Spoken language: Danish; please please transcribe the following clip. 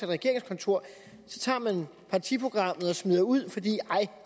regeringskontor så tager man partiprogrammet og smider det ud fordi